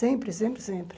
Sempre, sempre, sempre.